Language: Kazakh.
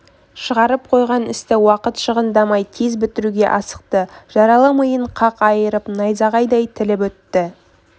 шығарып қойған істі уақыт шығындамай тез бітіруге асықты жаралы миын қақ айырып найзағайдай тіліп өттк